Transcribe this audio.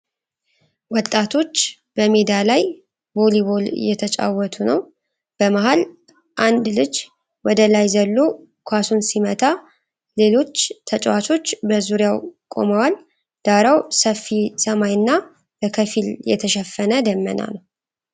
ወጣቶች በሜዳ ላይ ቮሊቦል እየተጫወቱ ነው። በመሃል፣ አንድ ልጅ ወደ ላይ ዘሎ ኳሱን ሲመታ፣ ሌሎች ተጫዋቾች በዙሪያው ቆመዋል። ዳራው ሰፊ ሰማይና በከፊል የተሸፈነ ደመና ነው።